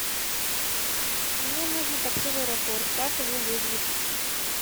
мне нужно такси в аэропорт как его вызвать